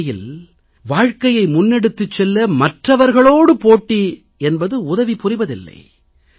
உண்மையில் வாழ்க்கையை முன்னெடுத்துச் செல்ல மற்றவர்களோடு போட்டி என்பது உதவி புரிவதில்லை